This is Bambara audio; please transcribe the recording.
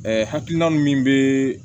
hakilina min bɛ